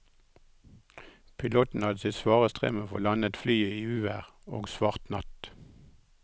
Piloten hadde sitt svare strev med å få landet flyet i uvær og svart natt.